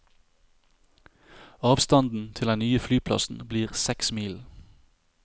Avstanden til den nye flyplassen blir seks mil.